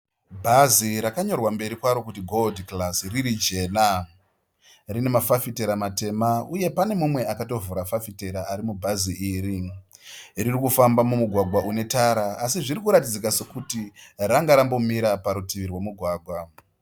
Bhazi rakanyorwa kumberi kwaro kuti "Gold Class" riri jena. Rine mafafitera matema uye pane mumwe akatovhura fafitera ari mubhazi iri. Riri kufamba mumugwagwa wetara asi zvinoratidzika sokuti range rambomira parutivi rwomugwagwa.